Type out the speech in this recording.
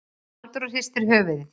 Halldóra hristi höfuðið.